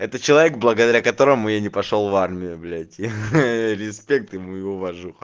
это человек благодаря которому я не пошёл в армию блять ха респект ему и уважуха